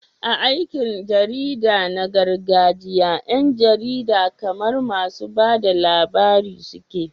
A aikin jarida na gargajiya, 'yan jarida kamar masu ba da labari suke.